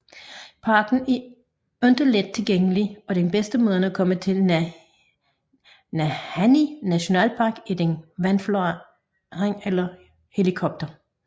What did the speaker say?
Parken er ikke let tilgængelig og den bedste måde at komme til Nahanni National Park er den vandflyver eller helikopter